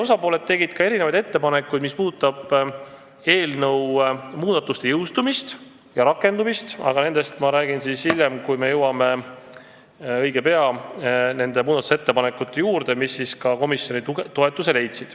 Osapooled tegid ettepanekuid selle kohta, mis puudutab eelnõu muudatuste jõustumist ja rakendumist, aga nendest ma räägin siis, kui me hiljem, õige pea jõuame nende muudatusettepanekute juurde, mis leidsid ka komisjoni toetuse.